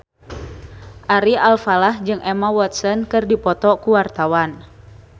Ari Alfalah jeung Emma Watson keur dipoto ku wartawan